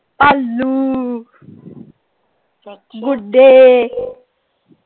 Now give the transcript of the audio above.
ਭਾਲੂ, ਗੁੱਡੇ।